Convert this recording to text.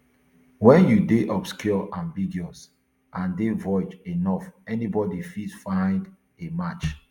wen you dey obscure ambiguous and dey vague enough anybodi fit find a match